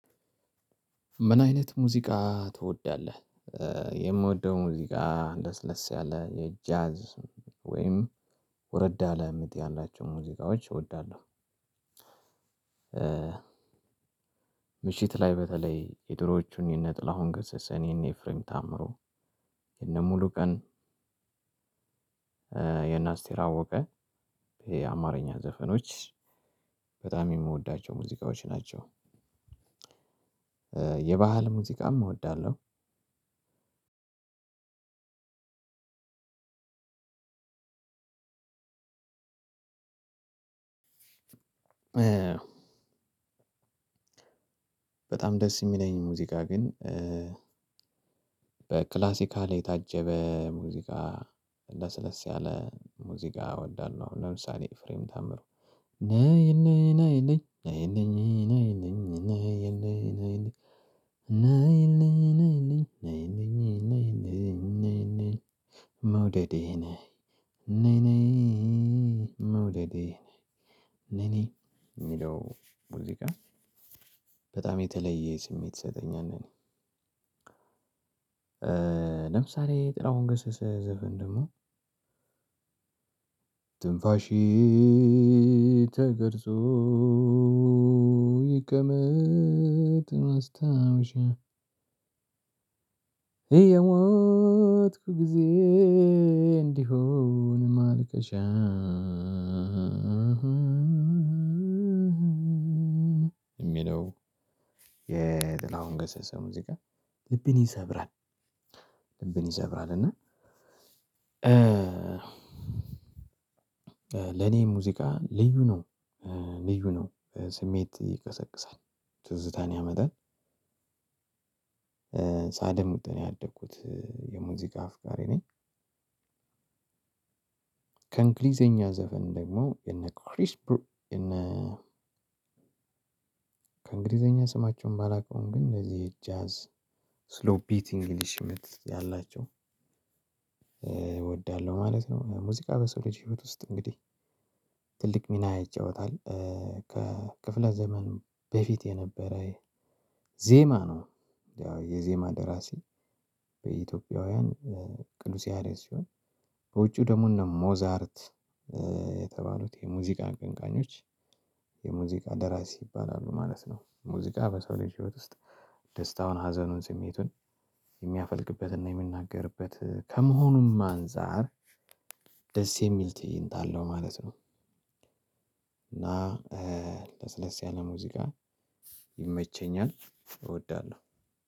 ምን አይነት ሙዚቃ ትወዳለህ? የምወደው ሙዚቃ ለስለስ ያለ የጃዝ ወይም ወረዳ ለምጥ ያላቸው ሙዚቃዎች እወዳለሁ። ምሽት ላይ በተለይ የድሮዎቹን የነጥላሁን ገሰሰ እኔን ኤፍሬም ታምሮ የነሙሉ ቀን። የነ አስቴር አወቀ ይሄ አማርኛ ዘፈኖች በጣም የምወዳቸው ሙዚቃዎች ናቸው። የባህል ሙዚቃም እወዳለሁ። እ በጣም ደስ የሚለኝ ሙዚቃ ግን። በክላሲካል የታጀበ ሙዚቃ ለስለስ ያለ ሙዚቃ እወዳለሁ። ለምሳሌ ኤፍሬም ታምሩ ነይ ነይ ነይ ነይ ነይ ነይ ነይ ነይ ነይ ነይ ነይ ነይ ነይ ነይ ነይ ነይ ነይ ነይ መውደዴ ነይ መውደዴ ነይ ነይ የሚለው ሙዚቃ በጣም የተለየ ስሜት ይሰጠኛል ነኝ። ለምሳሌ ጥላሁን ግሰሰ ዘፈን ደግሞ ትንፋሺ ተቀርጾ ይቀመጥ ማስታወሻ እየሞትኩ ጊዜ እንዲሆን ማልቀሻ። የሚለው የጥላሁን ገሰሰ ሙዚቃ ልብን ይሰብራል ይሰብራል እና። ለኔ ሙዚቃ ልዩ ነው። ልዩ ነው ስሜት ይቀሰቅሳል ትዝታን ያመጣል። ሳደምጥ ነው ያደኩት የሙዚቃ አፍቃሪ ነኝ። ከእንግሊዘኛ ዘፈን ደግሞ የነ ክሪስ ብሩ የነ ከእንግሊዘኛ ስማቸውን ባላውቀውም ግን እንደዚህ ጃዝ ስሎ ቢት እንግሊሽ ምት ያላቸው እወዳለሁ ማለት ነው። ሙዚቃ በሰው ልጅ ህይወት ውስጥ እንግዲህ ትልቅ ሚና ይጫወታል። ከክፍለ ዘመን በፊት የነበረ ዜማ ነው። ያው የዜማ ደራሲ በኢትዮጵያውያን ቅዱስ ያሬድ ሲሆን በውጪው ደግሞ እነ ሞዛርት የተባሉት የሙዚቃ አቀንቃኞች የሙዚቃ ደራሲ ይባላሉ ማለት ነው። ሙዚቃ በሰው ልጅ ህይወት ውስጥ ደስታውን ሀዘኑን ስሜቱን የሚያፈልቅበትና የሚናገርበት ከመሆኑም አንፃር ደስ የሚል ትእይንት አለው ማለት ነው። እና ለስለስ ያለ ሙዚቃ ይመቸኛል እወዳለሁ።